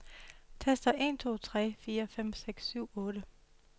Tester en to tre fire fem seks syv otte.